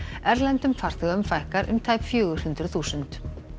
erlendum farþegum fækkar um tæp fjögur hundruð þúsund